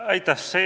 Aitäh!